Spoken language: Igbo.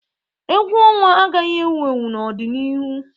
Egwu ọnwa agaghị ewu ewu n'ọdịnihu.